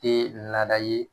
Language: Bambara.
Te laada ye